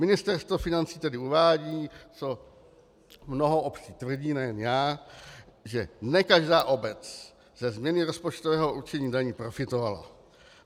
Ministerstvo financí tedy uvádí, co mnoho obcí tvrdí, nejen já, že ne každá obec ze změny rozpočtového určení daní profitovala.